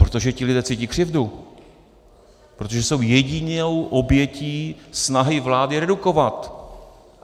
Protože ti lidé cítí křivdu, protože jsou jedinou obětí snahy vlády redukovat.